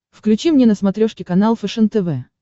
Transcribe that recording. включи мне на смотрешке канал фэшен тв